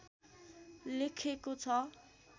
लेखएको छ